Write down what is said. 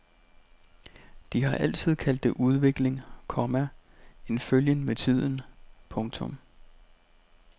De har altid kaldt det udvikling, komma en følgen med tiden. punktum